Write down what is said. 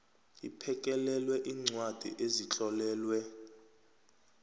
iphekelele iincwadi ezitlolelwe